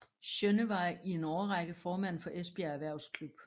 Sjønne var i en årrække formand for Esbjerg Erhvervsklub